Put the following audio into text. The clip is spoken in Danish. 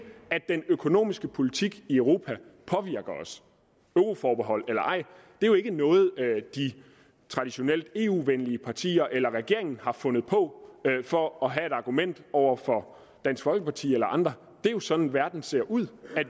at den økonomiske politik i europa påvirker os euroforbehold eller ej er jo ikke noget de traditionelt eu venlige partier eller regeringen har fundet på for at have et argument over for dansk folkeparti eller andre det er jo sådan verden ser ud